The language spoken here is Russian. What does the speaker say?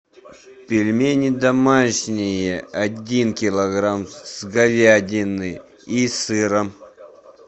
пельмени домашние один килограмм с говядиной и сыром